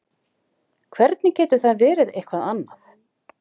Hvernig getur það verið eitthvað annað?